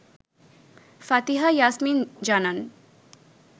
ফাতিহা ইয়াসমিন জানান